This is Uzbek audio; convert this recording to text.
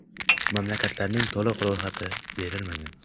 Mamlakatlarning to‘liq ro‘yxati berilmagan.